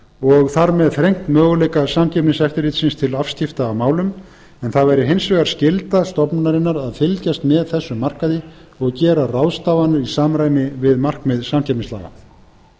og þar með þrengt möguleika samkeppniseftirlitsins til afskipta af málum en það væri hins vegar skylda stofnunarinnar að fylgjast með þessum markaði og gera ráðstafanir í samræmi við markmið samkeppnislaga